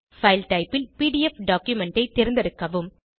file type ல் PDF document ஐ தேர்ந்தெடுக்கவும்